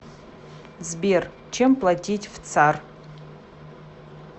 сбер чем платить в цар